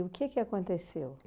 O que que aconteceu?